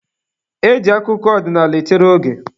E ji akụkọ ọdịnaala echere oge.